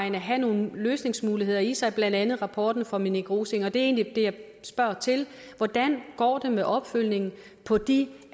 have nogle løsningsmuligheder i sig blandt andet rapporten fra minik rosing og det er egentlig det jeg spørger til hvordan går det med opfølgningen på de